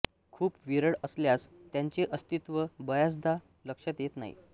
खूप विरळ असल्यास त्यांचे अस्तित्व बऱ्याचदा लक्षात येत नाही